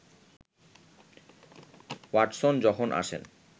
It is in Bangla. ওয়াটসন যখন আসেন